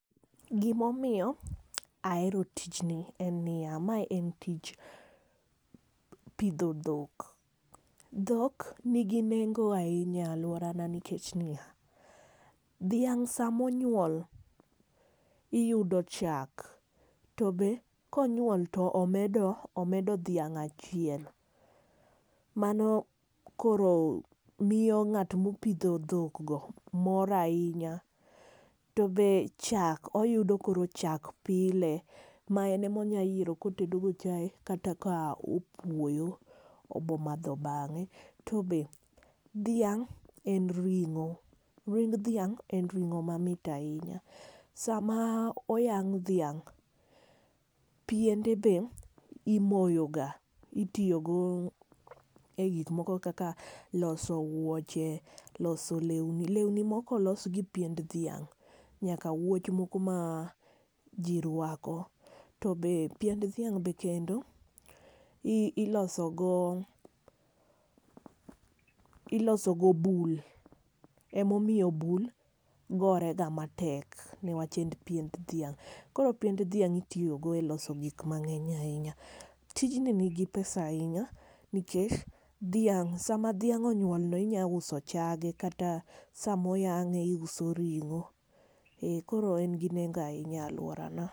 Gima omiyo ahero tijni, en niya, mae en tich pidho dhok. Dhok nigi nengo ahinya e alworana nikech niya, dhiang' sama onyuol, iyudo chak, to be ka onyuol to omedo, omedo dhiang' achiel. Mano koro, miyo ng'ato mopidho dhok go mor ahinya. To be chak oyudo koro chak pile ma en ema onyalo yiero ka otedo go chae, kata ka opuoyo, obomadho bang'e. To be dhiang' en ring'o. Ring dhiang' en ring'o mamit ahinya. Sama oyang' dhiang', piende be imoyoga. Itiyogo e gik moko kaka loso wuoche. Loso lewni. Lewni moko olos gi piend dhiang'. Nyaka wuoch moko ma ji rwako. To be piend dhiang' be kendo iloso go, iloso go bul. Ema omiyo bul gorega matek, newach en piend dhiang'. Koro piend dhiang' itiyogo e loso gik mang'eny ahinya. Tijni nigi pesa ahinya, nikech dhiang' sama dhiang' onyuol no inyalo uso chage, kata sama oyang'e, iuso ring'o. Ee koro en gi nengo ahinya e alworana.